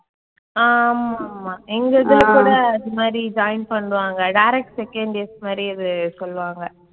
ஆஹ் ஆமாமா எங்க இதுல கூட அது மாதிரி join பண்ணுவாங்க direct second years மாதிரி அதைச் சொல்லுவாங்க.